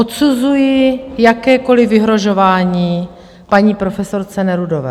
Odsuzuji jakékoliv vyhrožování paní profesorce Nerudové.